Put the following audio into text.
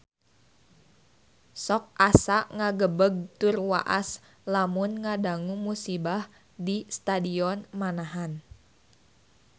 Sok asa ngagebeg tur waas lamun ngadangu musibah di Stadion Manahan